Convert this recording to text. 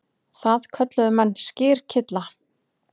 Það kölluðu menn skyrkylla.